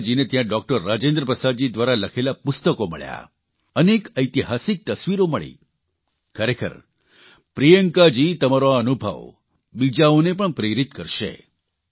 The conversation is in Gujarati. પ્રિયંકાજીને ત્યાં ડોકટર રાજેન્દ્ર પ્રસાદજી દ્વારા લખેલા પુસ્તકો મળ્યા અને એક ઐતિહાસિક તસ્વીરો મળી ખરેખર પ્રિયંકાજી તમારો આ અનુભવ બીજાઓને પણ પ્રેરિત કરશે